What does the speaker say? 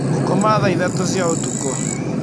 Ngũkoma thaa ithatũ cia ũtukũ.